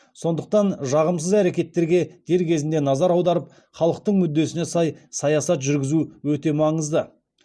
сондықтан жағымсыз әрекеттерге дер кезінде назар аударып халықтың мүддесіне сай саясат жүргізу өте маңызды